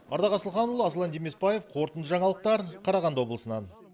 ардақ асылханұлы аслан демесбаев қорытынды жаңалықтар қарағанды облысынан